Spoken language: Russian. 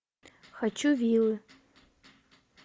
хочу вилы